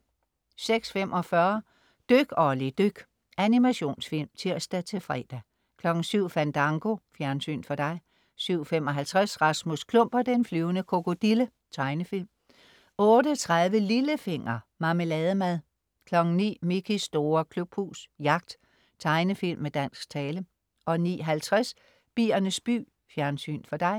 06.45 Dyk Olli dyk. Animationsfilm (tirs-fre) 07.00 Fandango. Fjernsyn for dig 07.55 Rasmus Klump og den flyvende krokodille. Tegnefilm 08.30 Lillefinger. Marmelademad 09.00 Mickeys store klubhus. Jagt. Tegnefilm med dansk tale 09.50 Biernes by. Fjernsyn for dig